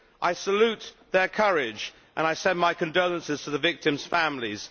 I salute their courage and I send my condolences to the victims' families.